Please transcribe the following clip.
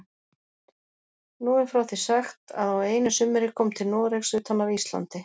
Nú er frá því sagt að á einu sumri kom til Noregs utan af Íslandi